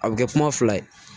A bɛ kɛ kuma fila ye